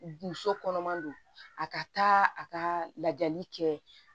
Muso kɔnɔman don a ka taa a ka lajali kɛ